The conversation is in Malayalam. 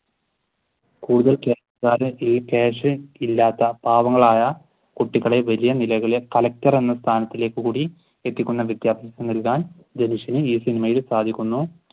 ക്യാഷ് ഇല്ലാത്ത പാവങ്ങളായ കുട്ടികളെ വലിയ നിലകളെ കളക്ടർ എന്ന സ്ഥാനത്തേക്ക് കൂടി എത്തിക്കുന്ന വിദ്യാഭ്യാസം നൽകാൻ ധനുഷിന് ഈ സിനിമയിൽ സാധിക്കുന്നു.